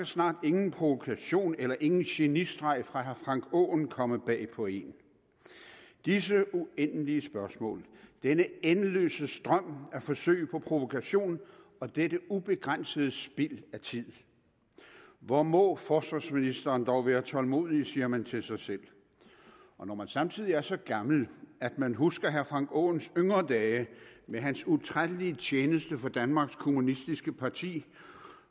snart ingen provokation eller ingen genistreg fra herre frank aaen komme bag på en disse uendelige spørgsmål denne endeløse strøm af forsøg på provokation og dette ubegrænsede spild af tid hvor må forsvarsministeren dog være tålmodig siger man til sig selv og når man samtidig er så gammel at man husker herre frank aaens yngre dage med hans utrættelige tjeneste for danmarks kommunistiske parti